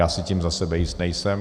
Já si tím za sebe jist nejsem.